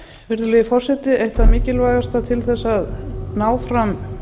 virðulegi forseti eitt það mikilvægasta til að ná fram